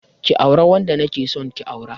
Ki auri wanda na ke so ki aura.